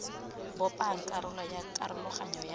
bopang karolo ya karologanyo ya